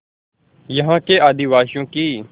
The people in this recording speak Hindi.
यहाँ के आदिवासियों की